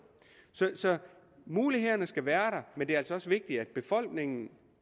så mulighederne skal være men det er altså også vigtigt at befolkningen